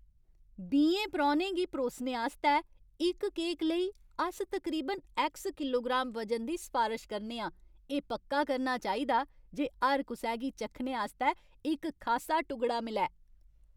बीहें परौह्नें गी परोसने आस्तै इक केक लेई, अस तकरीबन ऐक्स किलोग्राम वजन दी सफारश करने आं। एह् पक्का करना चाहिदा जे हर कुसै गी चक्खने आस्तै इक खासा टुगड़ा मिलै।